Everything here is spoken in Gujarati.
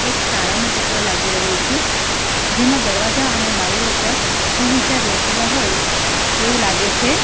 એક શાળાનું ચિત્ર લાગી રહ્યું છે જેમાં દરવાજા અને બારીઓ પર સુવિચાર લખેલા હોય એવું લાગે છે.